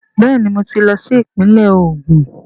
Bẹẹni, mo tí lo sí ìpínle Ogun